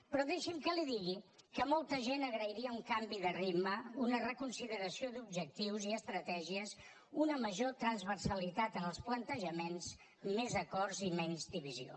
però deixi’m que li digui que molta gent agrairia un canvi de ritme una reconsideració d’objectius i estratègies una major transversalitat en els plantejaments més acords i menys divisió